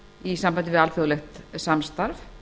í sambandi við alþjóðlegt samstarf